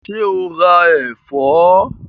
Ṣé o ra ẹ̀fọ́?